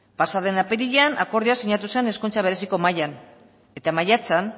pasaden apirilean akordioa sinatu zen hezkuntza bereziko mahaian eta maiatzean